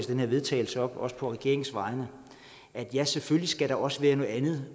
her vedtagelse op også på regeringens vegne at ja selvfølgelig skal der også være noget andet